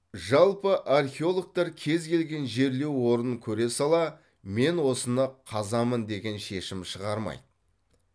жалпы археологтар кез келген жерлеу орнын көре сала мен осыны қазамын деген шешім шығармайды